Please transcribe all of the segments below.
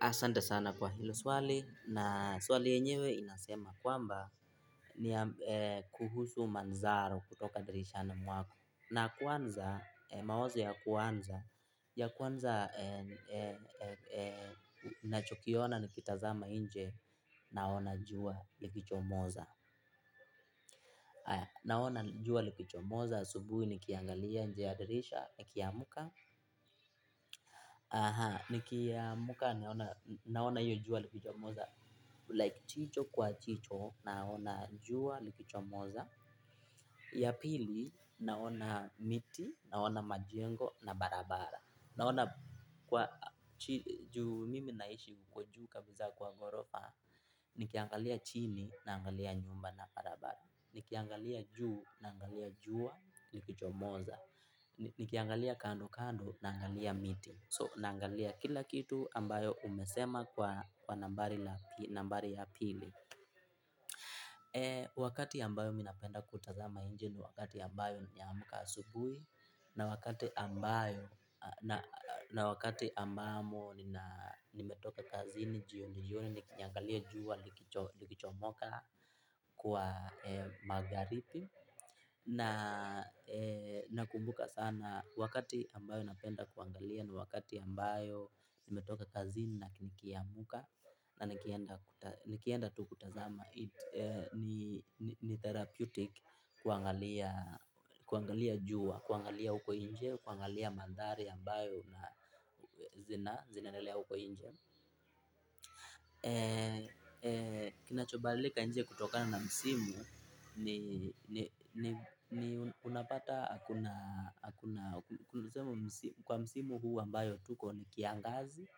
Asante sana kwa hilo swali na swali yenyewe inasema kwamba ni kuhusu manzaro kutoka dirishani mwako. Na kwanza, mawazo ya kwanza, ya kwanza nachokiona nikitazama nje naona jua likichomoza. Naona jua likichomoza, asubuhi ni kiangalia nje ya dirisha, ni kiamuka. Aha, nikiamka naona hiyo jua likichomoza Like jicho kwa jicho, naona jua likichomoza. Ya pili, naona miti, naona majengo na barabara. Naona juu mimi naishi kwa juu kabisa kwa ghorofa. Ni kiangalia chini, naangalia nyumba na barabara. Nikiangalia juu, naangalia jua, likichomoza. Nikiangalia kando kando, naangalia miti So, naangalia kila kitu ambayo umesema kwa nambari ya pili. Wakati ambayo mimi napenda kutazama nje ni wakati ambayo nimeamka asubuhi. Na wakati ambayo, na wakati ambamo nimetoke kazini jioni jioni, nikiliangalia jua, likichomoka kwa magharibi. Na kumbuka sana wakati ambayo napenda kuangalia ni wakati ambayo nimetoka kazi na nikiamka na nikienda tu kutazama ni therapeutic kuangalia juwa, kuangalia huko nje, kuangalia mandhari ambayo na zinaendelea huko nje. Kinachobadilika kutokana na msimu ni ni ni ni unapata hakuna hakuna hakuna sema kwa msimu huu ambayo tuko ni kiangazi.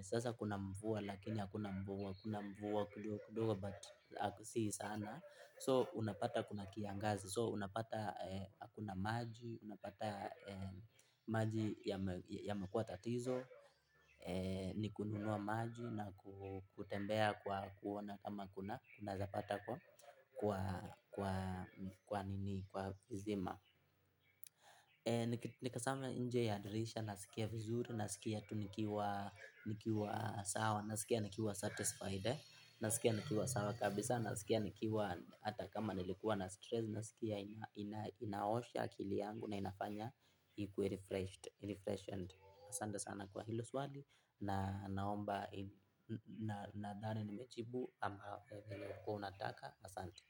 Sasa kuna mvua lakini hakuna mvua kuna mvua kidogo kidogo but si sana so unapata kuna kiangazi so unapata hakuna maji unapata maji yamekuwa tatizo. Ni kununua maji na kutembea kwa kuona kama unaweza pata kwa kwa kwa kwa nini kwa visima. Nikitazama nje ya dirisha nasikia vizuri nasikia tu nikiwa nikiwa sawa nasikia nikiwa satisfied nasikia nikiwa sawa kabisa nasikia nikiwa hata kama nilikuwa na stress nasikia inaosha akili yangu na inafanya ikuwe refreshed refreshened asante sana kwa hilo swali na naomba nadhani nimejibu vile ulikuwa unataka asante.